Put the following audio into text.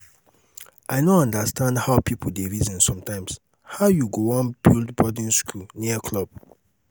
i no understand how people dey reason sometimes. how you go wan build boarding school near club?